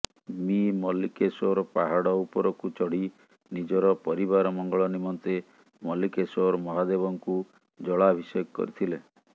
ମି ମଲ୍ଲୀକେଶ୍ୱର ପାହଡ ଉପରକୁ ଚଢି ନିଜର ପରିବାର ମଙ୍ଗଳ ନିମନ୍ତେ ମଲ୍ଲୀକେଶ୍ୱର ମହାଦେବଙ୍କୁ ଜଳାଭିଷେକ କରିଥିଲେ